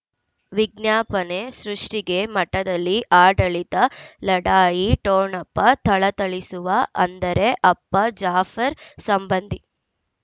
ವಿಜ್ಞಾಪನೆ ಸೃಷ್ಟಿಗೆ ಮಠದಲ್ಲಿ ಆಡಳಿತ ಲಢಾಯಿ ಠೊಣಪ ಥಳಥಳಿಸುವ ಅಂದರೆ ಅಪ್ಪ ಜಾಫರ್ ಸಂಬಂಧಿ